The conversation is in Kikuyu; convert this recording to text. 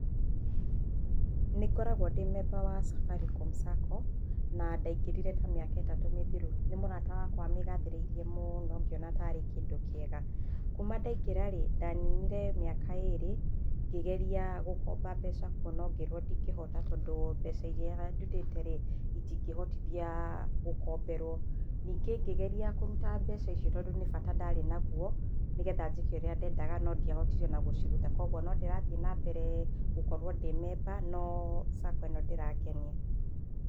Nĩ ngoragwo ndĩ member wa Safaricom Sacco na ndaingĩrire ta mĩaka ĩtatũ mĩthiru, nĩ mũrata wakwa wa mĩgathĩrĩirie mũno ngĩona tarĩkĩndũ kĩega, kuma ndaingĩra rĩ ndaninire mĩaka ĩrĩ ngĩgeria gũkomba mbeca kuo no ngĩrwo ndingĩhota tondũ mbeca iria ndundĩte rĩ itingĩhotithia gũkomberwo, ningĩ ngĩgeria kũruta mbeca icio tondũ nĩ bata ndarĩ naguo nĩgetha njĩke ũrĩa ndendaga no ndiahotire ona gũcirita kwoguo no ndĩtathiĩ ma mbere gũkorwo ndĩ member no Sacco ĩno ndĩrangenia.